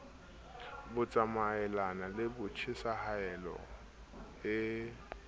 bo tsamaelanang le tjhesehelo e